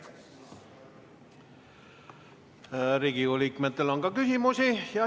Riigikogu liikmetel on ka küsimusi.